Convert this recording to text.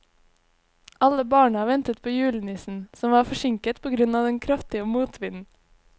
Alle barna ventet på julenissen, som var forsinket på grunn av den kraftige motvinden.